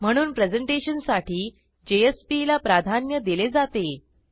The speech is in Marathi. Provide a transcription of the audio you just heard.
म्हणून प्रेझेंटेशनसाठी जेएसपी ला प्राधान्य दिले जाते